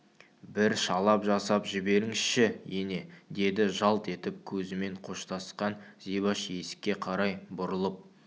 бір шалап жасап жіберіңізші ене деді жалт етіп көзімен қоштасқан зибаш есікке қарай бұрылып